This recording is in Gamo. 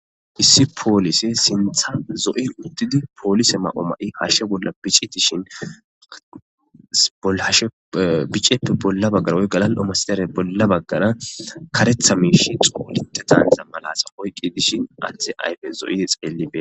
Issi pollisey sinththan zo'oy uttidi polise mayo mayidi hashshe bolla bicci dishin biccayippe bolla baggara woy galali'o masatizarippe bolla baggara kareththa mishshey xollinte daniza mala oyqqidi dishshin adde ayfey zo'idi xelli bettes.